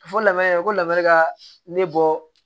A fɔ lamɛn ko lamara ka ne bɔ